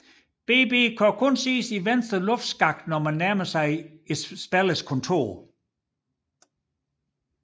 BB kan kun ses i venstre luftskakt når han nærmer sig spillerens kontor